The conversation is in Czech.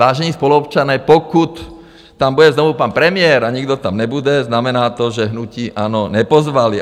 Vážení spoluobčané, pokud tam bude znovu pan premiér a nikdo tam nebude, znamená to, že hnutí ANO nepozvali.